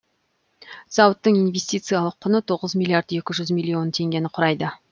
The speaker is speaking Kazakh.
зауыттың инвестициялық құны тоғыз миллиард екі жүз миллион теңгені құрайды